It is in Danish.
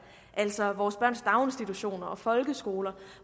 altså vores børns daginstitutioner og folkeskoler